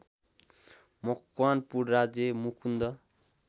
मकवानपुर राज्य मुकुन्द